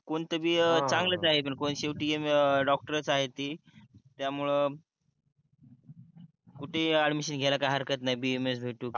कोणते बी चांगलंच आहे पन शेवटी डॉक्टरस आहे ती त्यामुळं कुटही ऍडमिशन घ्याल काही हरकत नाही BAMS भेटो की